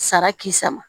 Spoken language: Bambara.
Sara k'i sama